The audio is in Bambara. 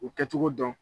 U kɛcogo dɔn